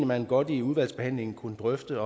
man godt i udvalgsbehandlingen kunne drøfte